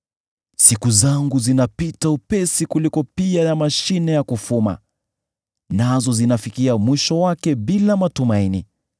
“Siku zangu zinapita upesi kuliko mtande wa kufuma, nazo zinafikia mwisho wake bila matumaini.